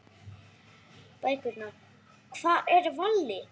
Bækurnar Hvar er Valli?